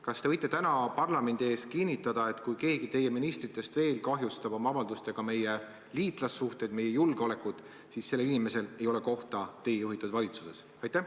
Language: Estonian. Kas te võite täna parlamendi ees kinnitada, et kui keegi teie ministritest veel kahjustab oma avaldustega meie liitlassuhteid, meie julgeolekut, siis sellel inimesel ei ole kohta teie juhitud valitsuses?